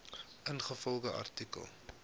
ingevolge artikel